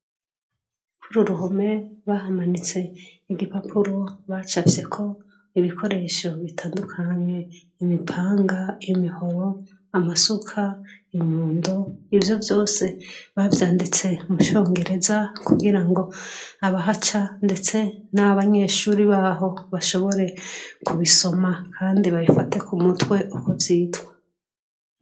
Ko ururuhome bahamanitse igipapuro bacavyeko ibikoresho bitandukanywe imipanga imihowo amasuka inyundo ivyo vyose bavyanditse mushongereza kugira ngo aba haca, ndetse n'abanyeshuri baho bashobore ku bisoma, kandi babifate ku mutwe ukuvyitwa.